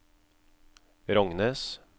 Rognes